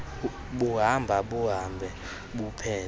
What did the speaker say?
buhamba buhambe buphele